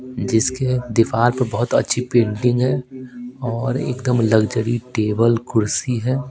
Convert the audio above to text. जिसके दीवार पर बहुत अच्छी पेंटिंग है और एकदम लग्जरी टेबल कुर्सी है।